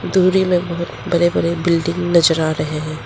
दूरी में बहुत बरे बरे बिल्डिंग नजर आ रहे हैं।